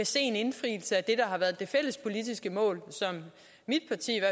se en indfrielse af det har været det fælles politiske mål